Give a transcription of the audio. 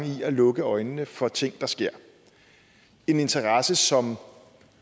i at lukke øjnene for ting der sker en interesse som